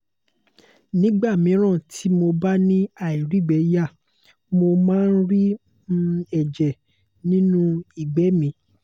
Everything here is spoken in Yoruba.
nígbà míràn tí mo bá ni airigbeya mo máa ń ri um ẹ̀jẹ̀ nínú igbe mi